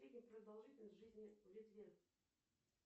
средняя продолжительность жизни в литве